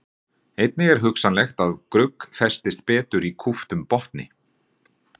einnig er hugsanlegt að grugg festist betur í kúptum botni